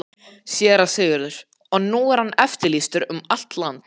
SÉRA SIGURÐUR: Og nú er hann eftirlýstur um allt land!